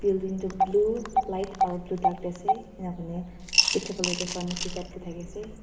building toh blue light aro blue dark dae asae enaka kurikina bichi fale toh pharmacy type dae taki asae.